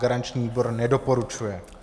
Garanční výbor nedoporučuje.